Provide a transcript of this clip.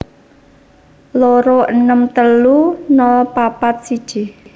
loro enem telu nol papat siji